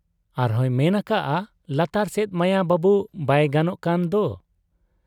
ᱟᱨᱦᱚᱸᱭ ᱢᱮᱱ ᱟᱠᱟᱜ ᱟ 'ᱞᱟᱛᱟᱨ ᱥᱮᱫ ᱢᱟᱭᱟ ᱵᱟᱹᱵᱩ ᱵᱟᱭ ᱜᱟᱱᱚᱜ ᱠᱟᱱ ᱫᱚ ?'